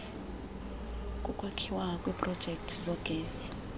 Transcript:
kokwakhiwa kweprojekthi zogesi